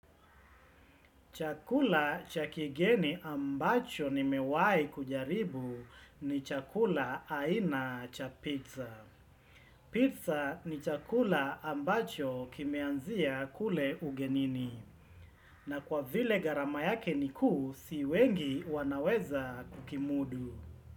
Chakula cha kigeni ambacho nimewahi kujaribu ni chakula aina cha pizza. Pizza ni chakula ambacho kimeanzia kule ugenini. Na kwa vile gharama yake ni kuu si wengi wanaweza kukimudu.